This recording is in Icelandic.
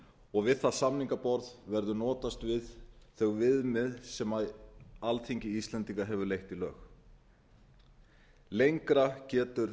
og við það samningaborð verður notast við þau viðmið sem alþingi íslendinga hefur leitt í lög lengra getur